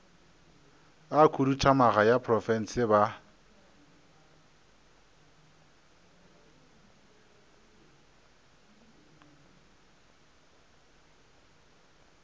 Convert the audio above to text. a khuduthamaga ya profense a